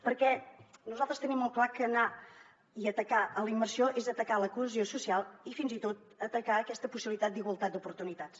perquè nosaltres tenim molt clar que anar i atacar la immersió és atacar la cohesió social i fins i tot atacar aquesta possibilitat d’igualtat d’oportunitats